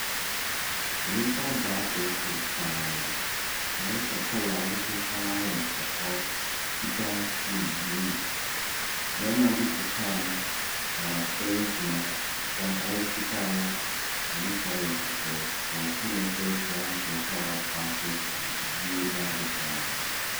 Nnipa abɔ apeeso paa ayɛsɛ kɔla wohu paa yɛ kɔkɔɔ, fitaa ɛne bluu. Bɛɛma bi te kaa mu na wasɔre agyina, ɔhyɛ ataade fitaa nane kyɛ yɛ kɔkɔɔ. Ɔɔto ne nsa kyea nkorofoɔ a wabɔ apeeso no, obiaa ani agye paa.